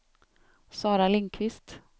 Sara Lindqvist